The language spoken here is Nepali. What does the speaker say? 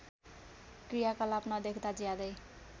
क्रियाकलाप नदेख्दा ज्यादै